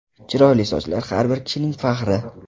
Chiroyli sochlar har bir kishining faxri!